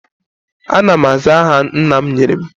Ana m aza aha nna m nyere m